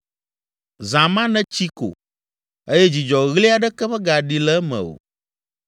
Zã ma netsi ko eye dzidzɔɣli aɖeke megaɖi le eme o.